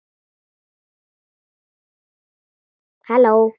Hver hleypti ykkur inn?